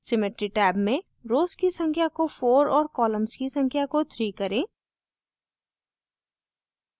symmetry tab में rows की संख्या को 4 और columns की संख्या को 3 करें